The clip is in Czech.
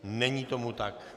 Není tomu tak.